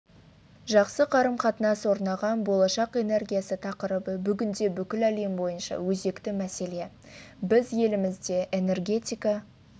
жақсы қарым-қатынас орнаған болашақ энергиясы тақырыбы бүгінде бүкіл әлем бойынша өзекті мәселе біз елімізде энергетика